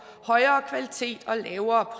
højere kvalitet og lavere